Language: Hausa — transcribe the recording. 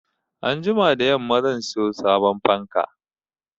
Anjima da yamma zan sayo sabon fanka.